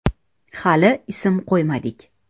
“Hali ism qo‘ymadik.